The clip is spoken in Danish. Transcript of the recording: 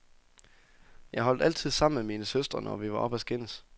Jeg holdt altid sammen med mine søstre, når vi var oppe at skændes.